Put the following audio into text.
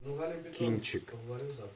кинчик